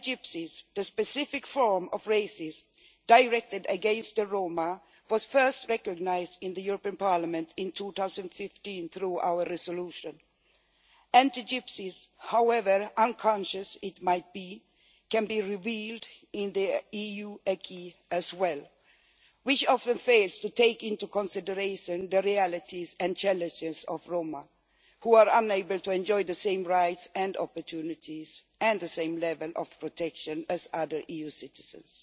Anti Gypsyism, the specific form of racism directed against the Roma, was first recognised in the European Parliament in 2015 through our resolution. Anti Gypsyism, however unconscious it might be, can be revealed in the EU acquis as well, which often fails to take into consideration the realities and challenges of Roma, who are unable to enjoy the same rights and opportunities and the same level of protection as other EU citizens.